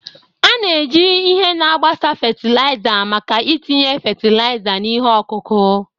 A na-eji ihe na-agbasa fatịlaịza maka itinye fatịlaịza na ihe ọkụkụ.